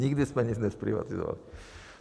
Nikdy jsme nic nezprivatizovali.